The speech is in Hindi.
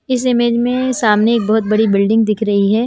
इस इमेज में सामने एक बहुत बड़ी बिल्डिंग दिख रही है।